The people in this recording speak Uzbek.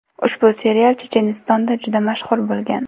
Ushbu serial Chechenistonda juda mashhur bo‘lgan.